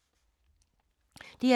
DR2